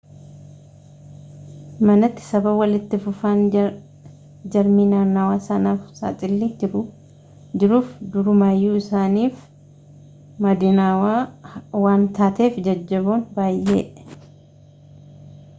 manatti sababa walitti fufaan jarmii naannawaa sanaaf saaxilli jiruuf durumayyuu isaaniif madinaawaa waan taateef jajjaboon baayyee